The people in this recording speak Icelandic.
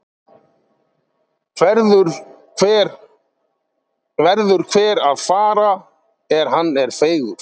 Verður hver að fara er hann er feigur.